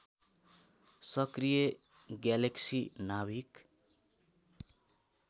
सक्रिय ग्यालेक्सी नाभिक